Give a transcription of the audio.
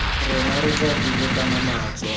rona re tla dubakana natso